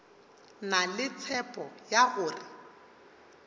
na le tshepo ya gore